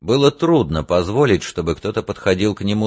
было трудно позволить чтобы кто-то подходил к нему